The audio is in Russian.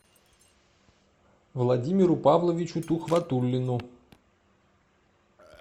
владимиру павловичу тухватуллину